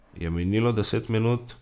Je minilo deset minut?